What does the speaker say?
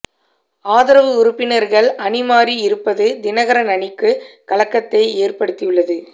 ஆதரவு உறுப்பினர்கள் அணி மாறி இருப்பது தினகரன் அணிக்கு கலக்கத்தை ஏற்படுத்தியுள்ளது